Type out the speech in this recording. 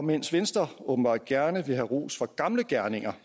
mens venstre åbenbart gerne vil have ros for gamle gerninger